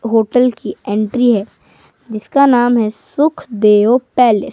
Hotel की entry है जिसका नाम है सुखदेव पैलेस ।